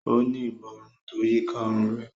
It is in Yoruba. O ni Ìborùn tó yíká òrun rẹ